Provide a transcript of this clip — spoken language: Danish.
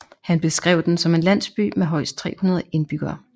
Han beskrev den som en landsby med højst 300 indbyggere